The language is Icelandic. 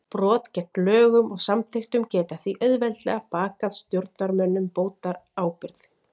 Brot gegn lögum og samþykktum geta því auðveldlega bakað stjórnarmönnum bótaábyrgð.